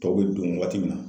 Tɔw bɛ don waati min na.